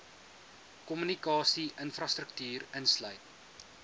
kommunikasie infrastruktuur insluit